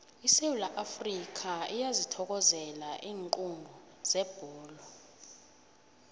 isewula afrikha iyazithokozela iinqundu zebholo